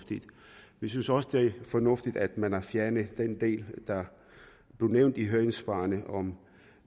vi synes også det er fornuftigt at man har fjernet den del der er nævnt i høringssvarene